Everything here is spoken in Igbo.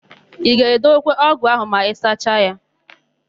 Ị ga-edebekwa ọ́gụ̀ áhụ̀ n'anwụ ma ịsacha ya?